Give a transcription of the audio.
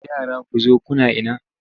Yara ku zo kuna ina!